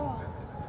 Ayda!